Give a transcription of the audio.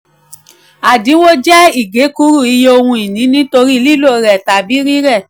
àdínwó jẹ́ ìkékúrú um iye ohun-ìní nítorí lílò rẹ̀ tàbí rírẹ̀.